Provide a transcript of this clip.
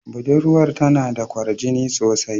Budurwar tana da kwarjini sosai.